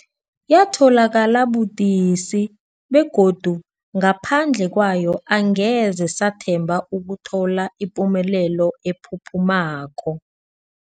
Yatholakala budisi, begodu ngaphandle kwayo angeze sathemba ukuthola ipumelelo ephuphumako.